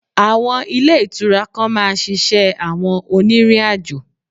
Àwọn Ilé Ìtura kan máa ṣiṣẹ́ àwọn onírìnàjò